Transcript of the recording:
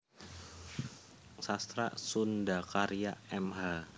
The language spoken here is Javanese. Sastra SundhaKarya Mh